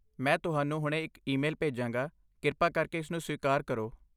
ਮੈਂ ਤੁਹਾਨੂੰ ਹੁਣੇ ਇੱਕ ਈਮੇਲ ਭੇਜਾਂਗਾ। ਕਿਰਪਾ ਕਰਕੇ ਇਸਨੂੰ ਸਵੀਕਾਰ ਕਰੋ।